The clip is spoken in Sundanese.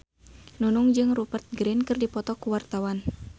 Nunung jeung Rupert Grin keur dipoto ku wartawan